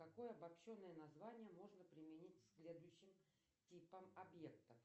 какое обобщенное название можно применить к следующим типам объектов